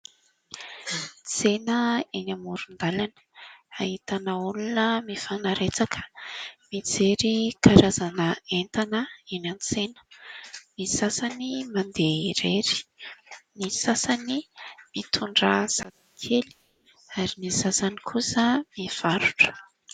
Tsena eny amodon-dalana : ahitana olona mifanaretsaka mijery karazana entana eny an-tsena. Ny sasany mandeha irery, ny sasany mitondra "sac" kely ary ny sasany kosa mivarotra.